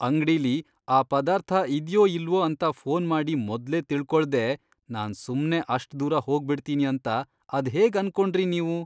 ಅಂಗ್ಡಿಲಿ ಆ ಪದಾರ್ಥ ಇದ್ಯೋ ಇಲ್ವೋ ಅಂತ ಫೋನ್ ಮಾಡಿ ಮೊದ್ಲೇ ತಿಳ್ಕೊಳ್ದೇ ನಾನ್ ಸುಮ್ನೇ ಅಷ್ಟ್ ದೂರ ಹೋಗ್ಬಿಡ್ತೀನಿ ಅಂತ ಅದ್ಹೇಗ್ ಅನ್ಕೊಂಡ್ರಿ ನೀವು?!